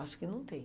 Acho que não tem.